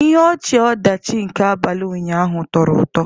Ihe ọchị-ọdachi nke abalị ụnyaahụ tọrọ ụtọ.